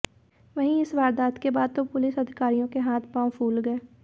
वहीं इस वारदात के बाद तो पुलिस अधिकारियों के हाथ पांव फूल गए